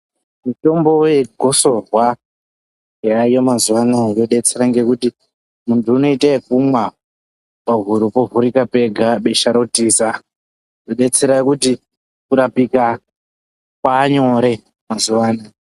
Mitombo yegosorwa yaayo mazuwa anaya yodetsera ngekuti muntu unoita ekumwa pahuro povhurika pega besha rotiza zvodetsera kuti kurapika kwaanyore mazuwa anaa.